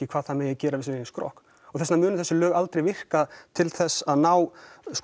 hvað það megi gera við sinn eigin skrokk þess vegna munu þessi lög aldrei virka til þess að ná